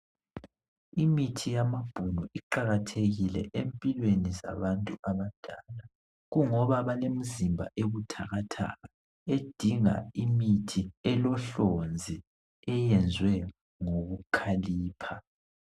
Imithi yamabhunu iqakathekile empilweni zabantu abadala . Kungoba balemizimba ebuthakathaka edinga imithi elohlonzi eyezwe ngokukhalipha.